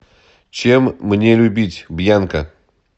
чем мне любить бьянка